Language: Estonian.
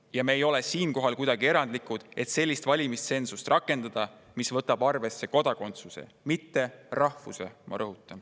Ja me ei ole kuidagi erandlikud, kui rakendame sellist valimistsensust, mis võtab arvesse, ma rõhutan: kodakondsuse, mitte rahvuse.